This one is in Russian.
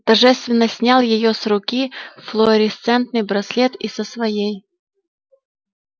торжественно снял с её руки флуоресцентный браслет и со своей